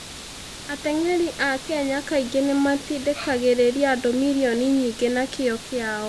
Ateng'eri a Kenya kaingĩ nĩ matindĩkagĩrĩria andũ milioni nyingĩ na kĩyo kĩao.